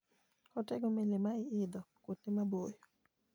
Otego meli ma idho kuonde maboyo.